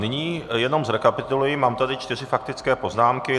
Nyní jenom zrekapituluji, mám tady čtyři faktické poznámky.